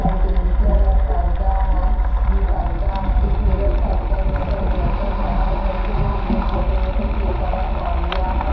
Ventilator है पर्दा है उम् पर्दा है एक मिरर टाइप का जिस पर एक लड़का खड़ा होकर के उम फोटो वोटो क्लिक कर तौलिया है।